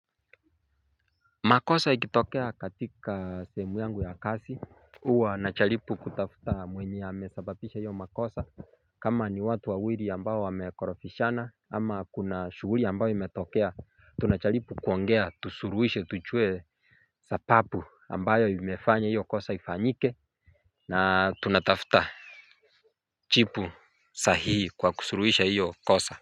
Makosa ikitokea katika sehemu yangu ya kazi hywa najaribu kutafuta mwenye amesababisha hiyo makosa. Kama ni watu wawili ambayo wamekorofishana ama kuna shughuli ambayo imetokea tunajaripu kuongea tusuluhishe tujue sababu ambayo imefanya hiyo kosa ifanyike. Na tunatafuta jipu sahihi kwa kusuluhisha hiyo kosa.